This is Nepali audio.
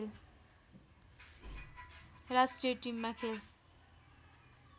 राष्ट्रिय टिममा खेल